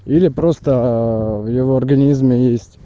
или просто в его организме есть